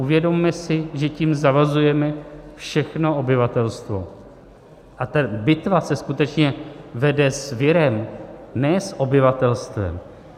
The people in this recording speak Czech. Uvědomme si, že tím zavazujeme všechno obyvatelstvo a ta bitva se skutečně vede s virem, ne s obyvatelstvem.